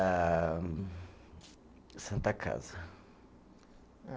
Ah Santa Casa. Eh